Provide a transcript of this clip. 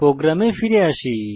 প্রোগ্রামে ফিরে আসি